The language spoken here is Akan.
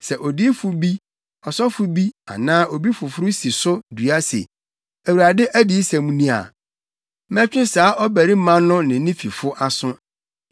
Sɛ odiyifo bi, ɔsɔfo bi anaa obi foforo si so dua se, ‘ Awurade adiyisɛm ni’ a, mɛtwe saa ɔbarima no ne ne fifo aso.